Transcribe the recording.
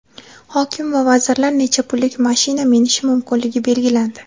Hokim va vazirlar necha pullik mashina minishi mumkinligi belgilandi.